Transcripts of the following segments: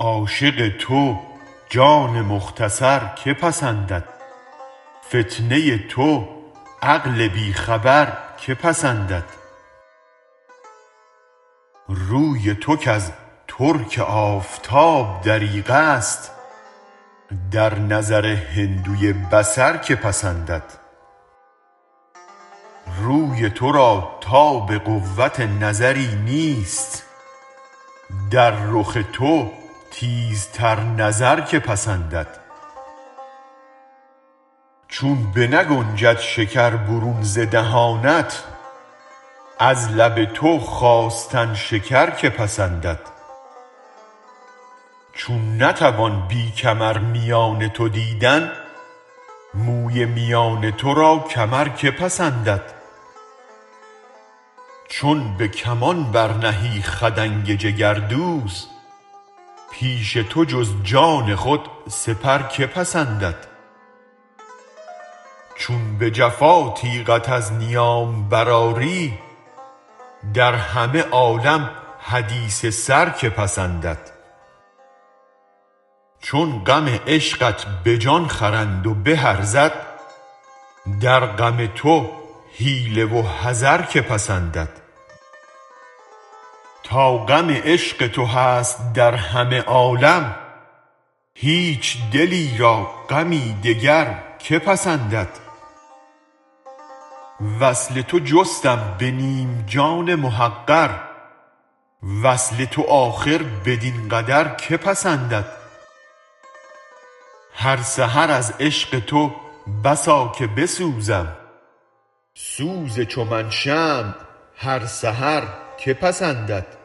عاشق تو جان مختصر که پسندد فتنه ی تو عقل بی خبر که پسندد روی تو کز ترک آفتاب دریغ است در نظر هندوی بصر که پسندد روی تو را تاب قوت نظری نیست در رخ تو تیزتر نظر که پسندد چون بنگنجد شکر برون ز دهانت از لب تو خواستن شکر که پسندد چون نتوان بی کمر میان تو دیدن موی میان تو را کمر که پسندد چون به کمان برنهی خدنگ جگردوز پیش تو جز جان خود سپر که پسندد چون به جفا تیغت از نیام برآری در همه عالم حدیث سر که پسندد چون غم عشقت به جان خرند و به ارزد در غم تو حیله و حذر که پسندد تا غم عشق تو هست در همه عالم هیچ دلی را غمی دگر که پسندد وصل تو جستم به نیم جان محقر وصل تو آخر بدین قدر که پسندد هر سحر از عشق تو بسا که بسوزم سوز چو من شمع هر سحر که پسندد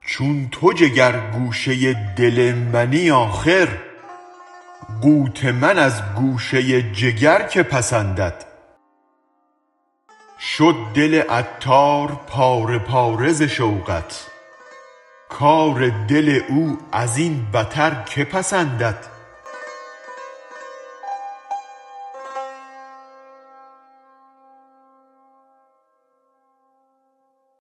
چون تو جگر گوشه دل منی آخر قوت من از گوشه جگر که پسندد شد دل عطار پاره پاره ز شوقت کار دل او ازین بتر که پسندد